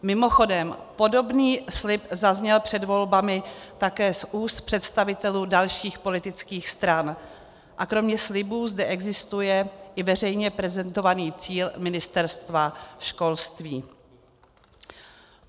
Mimochodem podobný slib zazněl před volbami také z úst představitelů dalších politických stran a kromě slibů zde existuje i veřejně prezentovaný cíl Ministerstva školství.